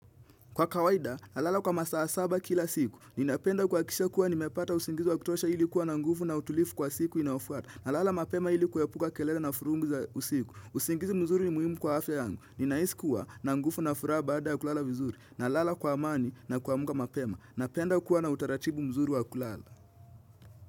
Kwa kawaida, na lala kwa masaa saba kila siku, ninapenda kwa kisha kuwa nimepata usingizi wa kutosha hili kuwa na nguvu na utulivu kwa siku inafuata. Na lala mapema hili kuepuka kelele na furungu za usiku. Usingizi mzuri ni muhimu kwa afya yangu. Ninaisi kuwa na nguvu na furaha baada ya kulala vizuri. Na lala kwa amani na kuamka mapema. Napenda kuwa na utaratibu mzuri wa kulala.